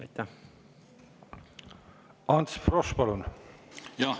Ants Frosch, palun!